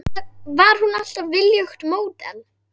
Var hún alltaf viljugt módel?